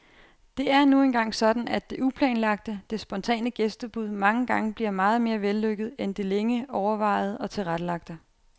Det er nu engang sådan, at det uplanlagte, det spontane gæstebud mange gange bliver meget mere vellykket end det længe overvejede og tilrettelagte.